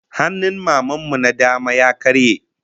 Hannun Maman mu na dama ya karye